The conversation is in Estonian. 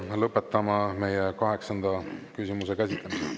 Lõpetame meie kaheksanda küsimuse käsitlemise.